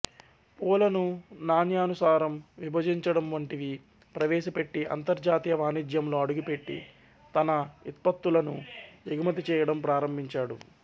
పూలను నాణ్యానుసారం విభజించడం వంటివి ప్రవేశపెట్టి అంతర్జాతీయ వాణిజ్యంలో అడుగుపెట్టి తన ఇత్పత్తులను ఎగుమతి చేయడం ప్రారంభించాడు